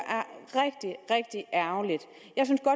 er og